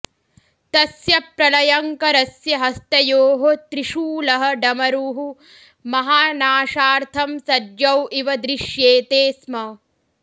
तस्य प्रलयङ्करस्य हस्तयोः त्रिशूलः डमरुः महानाशार्थं सज्जौ इव दृश्येते स्म